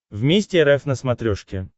вместе рф на смотрешке